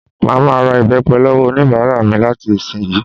Màá ma ra ìbẹ́pẹ lọ́wọ́ oníbàárà mi láti ìsiǹyí